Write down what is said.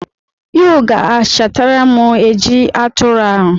You ga-achatara m eji atụrụ ahụ.